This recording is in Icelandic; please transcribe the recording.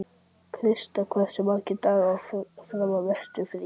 Krista, hversu margir dagar fram að næsta fríi?